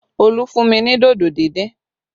Olu fún mi ní dodo díndín